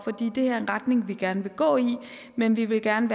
det er en retning vi gerne vil gå i men vi vil gerne